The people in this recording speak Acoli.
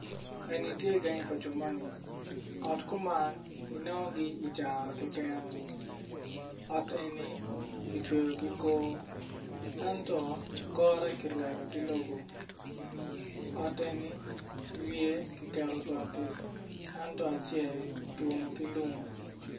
En tye gangi pa jo moni ot kuman i nongogi i caro keken ot eni kicweyo ki kor ento kore kirwado ki lobo ot eni wiye kiketo bati ento acel ki umo ki lum.